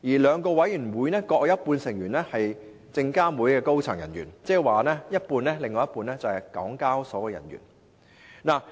兩個委員會各有一半成員是證監會的高層人員，另一半則是港交所的人員。